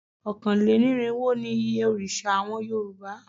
Ọ̀kánlénírinwó ni iye òrìṣà àwọn Yorùbá